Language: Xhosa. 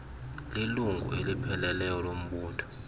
lilungu elipheleleyo lombutho